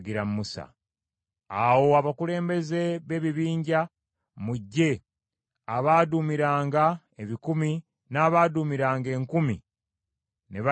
Awo abakulembeze b’ebibinja mu ggye abaaduumiranga ebikumi n’abaaduumiranga enkumi, ne bajja eri Musa,